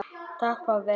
Takk pabbi.